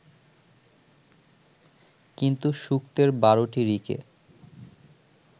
কিন্তু সূক্তের ১২টি ঋকে